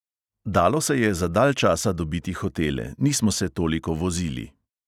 Dalo se je za dalj časa dobiti hotele, nismo se toliko vozili.